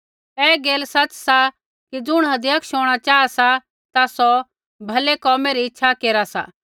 ऐ गैल सच़ सा कि ज़ुण अध्यक्ष होंणा चाहा सा ता सौ भलै कोमै री इच्छा केरा सा